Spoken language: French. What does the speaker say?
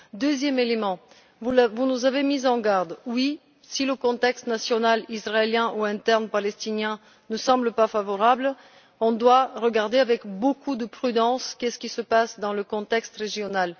Par ailleurs, vous nous avez mis en garde, si le contexte national israélien ou interne palestinien ne semble pas favorable, on doit regarder avec beaucoup de prudence ce qui se passe dans le contexte régional.